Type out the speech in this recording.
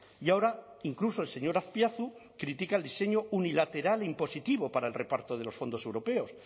y ahora incluso el señor azpiazu critica el diseño unilateral impositivo para el reparto de los fondos europeos